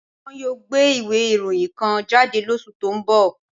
Wọ́n yóò gbé ìwé ìròyìn kan jáde lóṣù tó ń bọ̀